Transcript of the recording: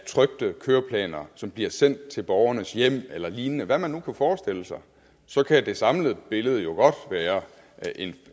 trykte køreplaner som bliver sendt til borgernes hjem eller lignende hvad man nu kunne forestille sig så kan det samlede billede jo godt være